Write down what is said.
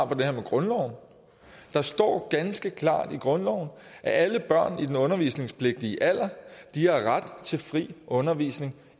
på det her med grundloven der står ganske klart i grundloven at alle børn i den undervisningspligtige alder har ret til fri undervisning